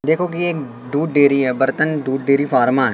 देखो कि एक दूध डेरी है बर्तन दूध डेरी फार्मा --